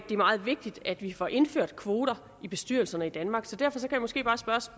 er meget vigtigt at vi får indført kvoter i bestyrelserne i danmark så derfor kan jeg måske bare